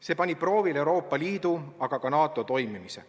See on pannud proovile Euroopa Liidu, aga ka NATO toimimise.